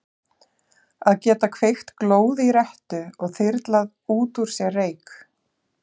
Að geta kveikt glóð í rettu og þyrlað út úr sér reyk.